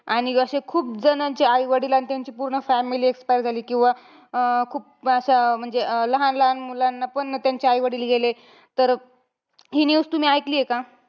आणि अशे खूप जणांचे आईवडील आणि त्यांची पूर्ण family expire झाली. किंवा अं खूप असं म्हणजे लहान-लहान मुलांना पण त्यांचे आईवडील गेले. तर हि news तुम्ही ऐकलीये का?